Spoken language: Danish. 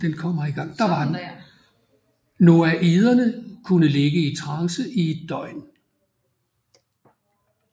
Noaiderne kunne ligge i trance i et døgn